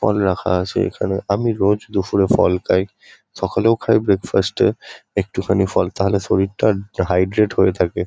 ফল রাখা আছে এখানে। আমি রোজ দুপুরে ফল খাই। সকালেও খাই ব্রেকফাস্ট -এ একটুখানি ফল। তাহলে শরীরটা হাইড্রেট হয়ে থাকে।